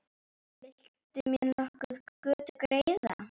Vill mér nokkur götu greiða?